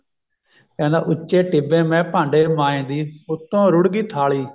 ਕਹਿੰਦਾ ਉੱਚੇ ਟਿੱਬੇ ਮੈਂ ਭਾਂਡੇ ਮਾਂਜਦੀ ਉੱਤੋਂ ਰੁੜ ਗਈ ਥਾਲੀ